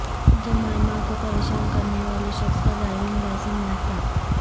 Jemima کو پریشان کرنیوالے شخص کا ڈرائیونگ لائسنس معطل